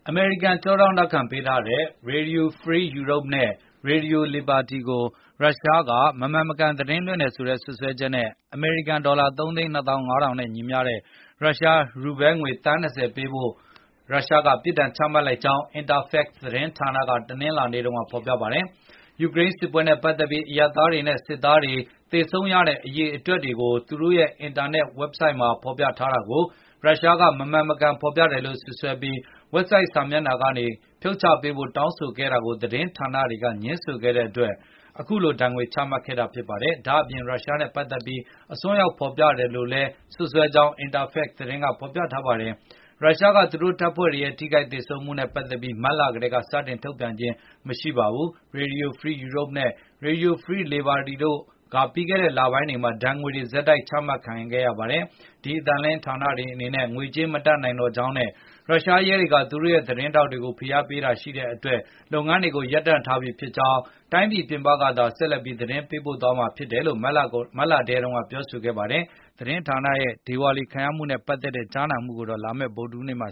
အမေရိကန်ကကြောထောက်နောက်ခံပေးထားတဲ့ Radio Free Europe နဲ့ Radio Liberty ကို ရုရှားက မမှန်မကန်သတင်းလွှင့်တယ်ဆိုတဲ့စွပ်စွဲချက်နဲ့အမေရိကန်ဒေါ်လာ ၃ သိန်း ၂ သောင်း ၅ ထောင်နဲ့ညီမျှတဲ့ ရုရှားရူဘဲငွေသန်း ၂၀ ပေးဆောင်ဖို့ရုရှားက ပစ်ဒါဏ်ချမှတ်ထားကြောင်း Interfax သတင်းဌာနက တနင်္လာနေ့တုန်းကဖေါ်ပြပါ တယ်။ ယူကရိန်းစစ်ပွဲနဲ့ပတ်သက်ပြီး အရပ်သားတွေနဲ့ ရုရှားစစ်သား တွေသေဆုံးတဲ့အရေ အတွက်တွေသူတို့ရဲ့အင်တာနက်ဝက်ဆိုဒ်မှာဖေါ်ပြထားတာကို ရုရှားကမဟုတ်မမှန် ဖေါ်ပြတယ်လို့စွပ်စွဲပြီး၊ ဝက်ဆိုဒ်စာမျက်နှာကနေဖြုတ်ချပေးဖို့ တောင်းဆိုခဲ့တာကို ဒီသတင်းဌာနတွေက ငြင်းဆိုခဲ့တဲ့အတွက်အခုလို ဒါဏ်ငွေချမှတ်ခဲ့တာပါ။ ဒါ့အပြင် ရုရှုားနဲ့ပတ်သက်ပြီးအစွန်းရောက်ဖေါ်ပြ တယ်လို့လည်းစွပ်စွဲခဲ့ ကြောင်း Interfax သတင်းကဆိုပါတယ်။ ရုရှားက သူတို့တပ်ဖွဲ့တွေရဲ့ထိခိုက်သေဆုံးမှုနဲ့ပတ်သက်ပြီး မတ်လကတည်းကစတင်ပြီး ထုတ်ပြန်ခြင်းမရှိပါဘူး။ Radio Free Europe နဲ့ Radio Liberty တို့ကိုပြီးခဲ့တဲ့လပိုင်းတွေထဲမှာ ဒါဏ်ငွေတွေ ဆက်တိုက်ချမှတ်ခဲ့ပါတယ်။ ဒီအသံလွှင့်ဌာနတွေအနေနဲ့ ငွေကြေးမတတ်နိုင်တော့ ကြောင်းနဲ့ ရုရှားရဲတွေကသူတို့ရဲ့သတင်းထောက်တွေကို ဖိအားပေးတာတွေရှိတဲ့ အတွက်လုပ်ငန်းတွေကိုရပ်တန့်ထားလိုက်ပြီဖြစ်ကြောင်းနဲ့တိုင်းပြည်ပြင်ကသာ ဆက်လက်ပြီးသတင်းပေးပို့သွားတော့မယ်လို့ မတ်လထဲတုန်းကကြေငြာခဲ့ပါတယ်။ ဒီသတင်းဌာနတွေရဲ့ဒေဝါလီခံရမှုနဲ့ပတ်သက်တဲ့ ကြားနာမှုကိုတော့ လာမယ့်ဗုဒ္ဓဟူး နေ့မှာ